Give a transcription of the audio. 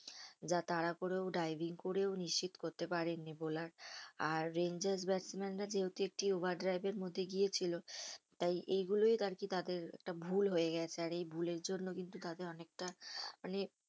যা তাড়া করেও driving করেও নিশ্চিত করতে পারেননি বোলার আর ব্যাটম্যানরা যেহেতু একটি overdrive এর মধ্যে গিয়েছিলো তাই এগুলোই আরকি তাদের একটা ভুল হয়ে গেছে আর এই ভুলের জন্য কিন্তু তাদের অনেকটা মানে